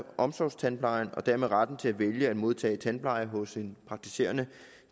omsorgstandplejen og dermed retten til at vælge at modtage tandpleje hos en praktiserende